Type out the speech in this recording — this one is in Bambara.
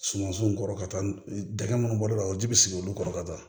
Sumansunw kɔrɔ ka taa dɛgɛ minnu bɔr'o la o ji bɛ sigi olu kɔrɔ ka taa